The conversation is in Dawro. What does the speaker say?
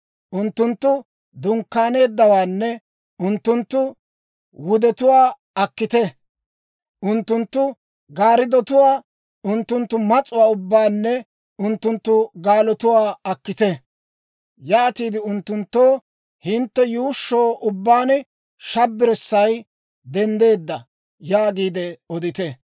Unttunttu dunkkaanetuwaanne unttunttu wudetuwaa akkite! Unttunttu gariddotuwaa, unttunttu mas'uwaa ubbaanne unttunttu gaalotuwaa akkite! Yaatiide unttunttoo, ‹Hintte yuushsho ubbaan shabbirssay denddeedda!› yaagiide odite.